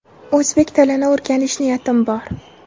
O‘zbek tilini o‘rganish niyatim bor.